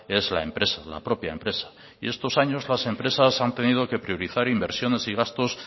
es la empresa la propia empresa y estos años las empresas han tenido que priorizar inversiones y gastos